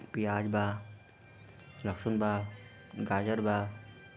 पियाज बा लहसुन बा गाजर बा--